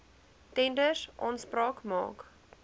tenders aanspraak maak